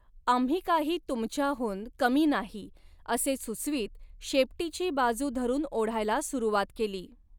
आम्ही काही तुमच्याहून कमी नाही असे सुचवीत शेपटीची बाजू धरून ओढायला सुरवात केली.